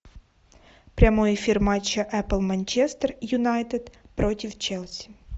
прямой эфир матча апл манчестер юнайтед против челси